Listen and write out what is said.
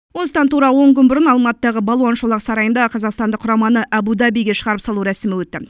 осыдан тура он күн бұрын алматыдағы балуан шолақ сарайында қазақстандық құраманы абу дабиге шығарып салу рәсімі өтті